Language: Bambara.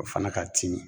O fana ka timi